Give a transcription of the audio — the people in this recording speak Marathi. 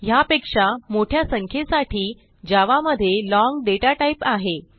ह्यापेक्षा मोठ्या संख्येसाठी जावा मध्ये लाँग दाता टाइप आहे